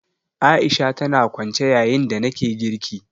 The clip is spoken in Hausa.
A'isha tana kwance yayin da nake girki